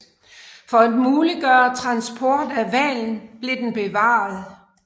For at muliggøre transport af hvalen blev den bevaret